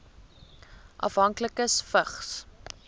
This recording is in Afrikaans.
afhanklikes vigs